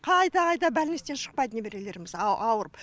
қайта қайта бәлнистен шықпайды немерелеріміз ауырып